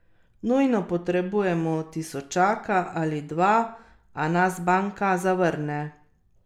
Nujno potrebujemo tisočaka ali dva, a nas banka zavrne.